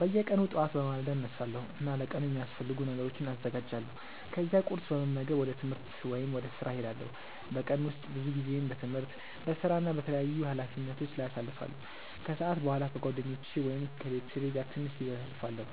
በየቀኑ ጠዋት በማለዳ እነሳለሁ እና ለቀኑ የሚያስፈልጉ ነገሮችን አዘጋጃለሁ። ከዚያ ቁርስ በመመገብ ወደ ትምህርት ወይም ወደ ሥራ እሄዳለሁ። በቀን ውስጥ ብዙ ጊዜዬን በትምህርት፣ በሥራ እና በተለያዩ ኃላፊነቶች ላይ አሳልፋለሁ። ከሰዓት በኋላ ከጓደኞቼ ወይም ከቤተሰቤ ጋር ትንሽ ጊዜ አሳልፋለሁ